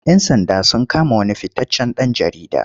Yan sanda sun kama wani fitaccen ɗan jarida.